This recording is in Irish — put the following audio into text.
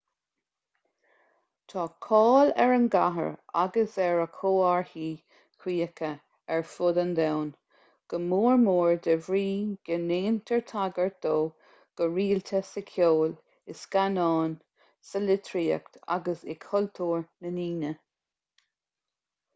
tá cáil ar an gcathair agus ar a chomharthaí críche ar fud an domhain go mór mór de bhrí go ndéantar tagairt dó go rialta sa cheol i scannáin sa litríocht agus i cultúr na ndaoine